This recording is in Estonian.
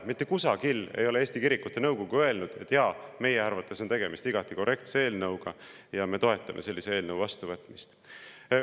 Mitte kusagil ei ole Eesti Kirikute Nõukogu öelnud, et jaa, meie arvates on tegemist igati korrektse eelnõuga ja me toetame sellise eelnõu vastuvõtmist.